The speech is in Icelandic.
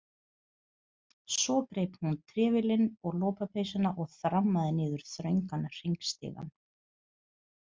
Svo greip hún trefilinn og lopapeysuna og þrammaði niður þröngan hringstigann.